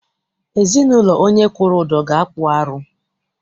Ezinaụlọ onye kwụrụ ụdọ ga- akpụ arụ.